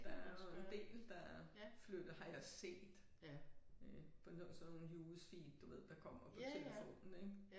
Der er jo en del der flytter har jeg set øh på sådan nogle news feed du ved der kommer på telefonen ik